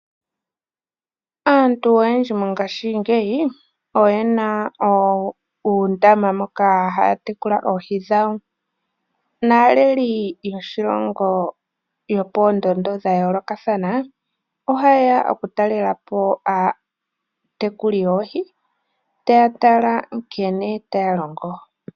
Aantu oyendji mongashingeyi oyena uundama moka haya tekula oohi dhawo naaleli yoshilongo yopoondondo dha yoolokathana ohayeya oku talelapo aatekuli yoohi taya tala nkene taya longo.